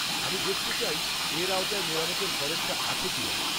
-আমি দেখতে চাই এর আওতায় মেরামতের খরচটা আছে কিনা।